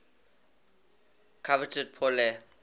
coveted pour le